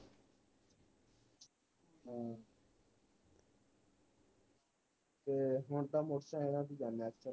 ਤੇ ਹੁਣ ਤਾ ਮੋਟਰ ਸਾਈਕਲਾ ਤੇ ਜਾਣੇ ਆ